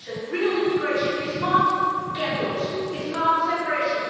Real integration is not ghettos and is not separation.